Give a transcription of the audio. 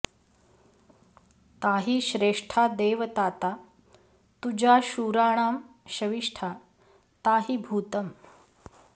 ता हि श्रेष्ठा देवताता तुजा शूराणां शविष्ठा ता हि भूतम्